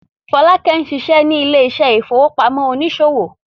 Folake ń ṣiṣẹ́ ní ilé ìfowópamọ́ oníṣòwò.